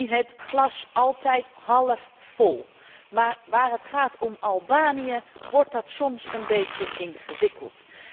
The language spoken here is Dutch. Ik zie het glas altijd halfvol, maar waar het gaat om Albanië wordt dat soms een beetje ingewikkeld.